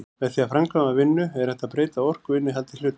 Með því að framkvæma vinnu er hægt að breyta orkuinnihaldi hluta.